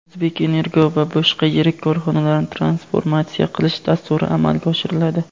"O‘zbekenergo" va boshqa yirik korxonalarni transformatsiya qilish dasturi amalga oshiriladi.